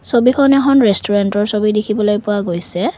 ছবিখন এখন ৰেষ্টোৰেন্তৰ ছবি দেখিবলৈ পোৱা গৈছে।